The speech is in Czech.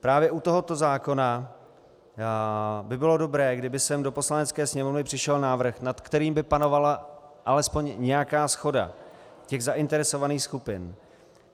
Právě u tohoto zákona by bylo dobré, kdyby sem do Poslanecké sněmovny přišel návrh, nad kterým by panovala alespoň nějaká shoda těch zainteresovaných skupin.